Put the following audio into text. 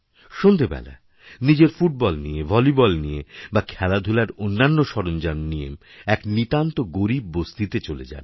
সন্ধেবেলা নিজের ফুটবলনিয়ে ভলিবল নিয়ে বা খেলাধূলার অন্যান্য সরঞ্জাম নিয়ে এক নিতান্ত গরীব বস্তিতে চলেযান